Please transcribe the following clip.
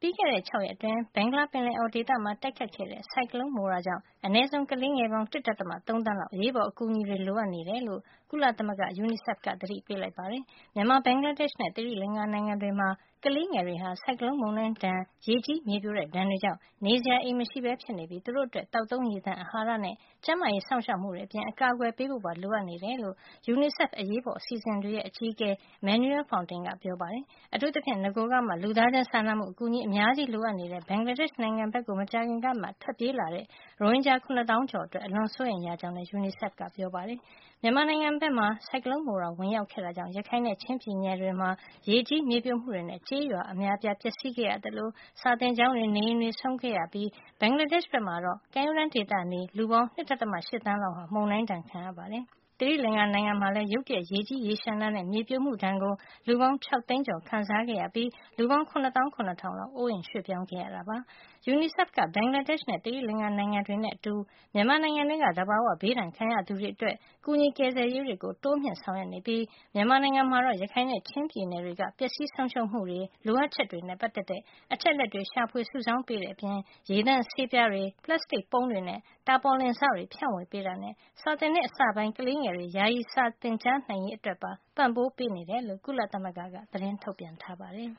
ပြီးခဲ့တဲ့ ၆ ရက် အတွင်း ဘင်္ဂလားပင်လယ်အော်ဒေသမှာ တိုက်ခိုက်ခဲ့တဲ့ ဆိုင်ကလုံး မိုရာ ကြောင့် အနည်းဆုံး ကလေးငယ်ပေါင်း ၁.၃ သန်းလောက် အရေးပေါ် အကူအညီတွေ လိုအပ်နေတယ်လို့ ကုလသမဂ္ဂ UNICEF က သတိပေးလိုက်ပါတယ်။ မြန်မာ၊ ဘင်္ဂလားဒေ့ရှ်နဲ့ သီရိလင်္ကာ နိုင်ငံတွေမှာ ကလေးငယ်တွေဟာ ဆိုင်ကလုံးမုန်တိုင်းဒဏ် ရေကြီး မြေပြိုတဲ့ ဒဏ်တွေကြောင့် နေအိမ်မရှိပဲ ဖြစ်နေပြီး သူတို့အတွက် သောက်သုံးရေသန့်၊ အဟာရနဲ့ ကျန်းမာရေး စောင့်ရှောက်မှုတွေ အပြင် အကာကွယ်ပေးဖို့ပါ လိုအပ်နေတယ်လို့ UNICEF အရေးပေါ်စီအစဉ်တွေရဲ့ အကြီးအကဲ Manuel Fontaine ကပြောပါတယ်။ အထူးသဖြင့် နဂိုကမှာ လူသားချင်း စာနာမှု အကူအညီ အများကြီး လိုအပ်နေတဲ့ ဘင်္ဂလာဒေ့ရှ် နိုင်ငံဘက်ကို မကြာခင်ကမှ ထွက်ပြေးလာတဲ့ ရိုဟင်ဂျာ ၇ သောင်း ကျော်အတွက် အလွန် စိုးရိမ်ရကြောင်းလည်း UNICEF က ပြောပါတယ်။ မြန်မာနိုင်ငံဘက်မှာ ဆိုင်ကလုံးမိုရာ ဝင်ရောက်ခဲ့တာကြောင့် ရခိုင်နဲ့ ချင်းပြည်နယ်တွေမှာ ရေကြီး မြေပြိုမှုတွေနဲ့ ကျေးရွာ အများအပြား ပျက်စီးခဲ့ရသလို စာသင်ကျောင်းတွေ၊ နေအိမ်တွေဆုံးခဲ့ရ သလို ဘင်္ဂလားဒေ့ရှ် ဘက်မှာတော့ ကမ်းရိုးတန်းဒေသနေ လူပေါင်း ၂.၈ သန်းလောက်ဟာ မုန်တိုင်းဒဏ် ခံခဲ့ရပါတယ်။ သီရိလင်္ကာ နိုင်ငံမှာလည်း ရုတ်တရက် ရေကြီးရေလျှံတာနဲ့ မြေပြိုမှု ဒဏ်ကို လူပေါင်း ၆ သိန်းကျော် ခံစားခဲ့ရပြီး လူပေါင်း ၇သောင်း ၇ ထောင်လောက် အိုးအိမ်ရွှေ့ပြောင်း ခဲ့ရပါတယ်။ UNICEF က ဘင်္ဂလားဒေ့ရှ် နဲ့ သီရိလင်္ကာ နိုင်ငံတွေနဲ့ အတူ မြန်မာနိုင်ငံထဲက သဘာဝ ဘေးဒဏ်ခံရသူတွေအတွက် ကူညီ ကယ်ဆယ်ရေးတွေ တိုးမြှင့် ဆောင်ရွက်နေပြီး မြန်မာနိုင်ငံမှာတော့ ရခိုင်နဲ့ ချင်းပြည်နယ်တွေက ပျက်စီးဆုံးရှုံးမှုတွေ လိုအပ်ချက်တွေနဲ့ ပတ်သက်တဲ့ အချက်အလက် ရှာဖွေစုဆောင်းပေးတဲ့ အပြင်၊ ရေသန့်ဆေးပြားတွေ၊ ပလပ်စတစ်ပုံးတွေ နဲ့ တာပေါ်လင်စတွေ ဖြန့်ဝေပေးတာနဲ့ စာသစ်နှစ်အစပိုင်း ကလေးငယ်တွေ ယာယီ စာသင်ကြားနိုင်ရေး အတွက်ပါ ပံ့ပိုးပေးနေတယ်လို့ ကုလသမဂ္ဂက သတင်းထုတ်ပြန်ပါတယ်